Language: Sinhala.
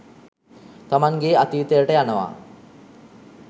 තමන්ගේ අතීතයට යනවා.